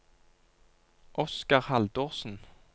Oscar Haldorsen